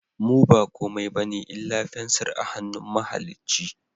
Mu ba komai bane illa fensir a hannun mahalicci